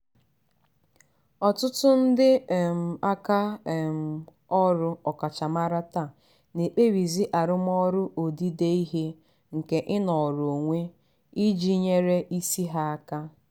ọtụtụ ndị um aka um ọrụ ọkachamara taa na-ekpebizi arụmọrụ odide ihe nke ịnọrọ onwe iji nyere isi ha aka.